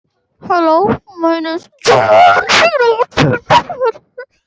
Síðar getur rof grafið ofan af innskotunum og birtast þau þá á yfirborði.